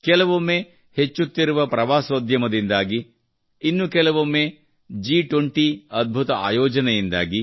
ಕೆಲವೊಮ್ಮೆ ಹೆಚ್ಚುತ್ತಿರುವ ಪ್ರವಾಸೋದ್ಯಮದಿಂದಾಗಿ ಇನ್ನು ಕೆಲವೊಮ್ಮೆ G20 ರ ಅದ್ಭುತ ಆಯೋಜನೆಯಿಂದಾಗಿ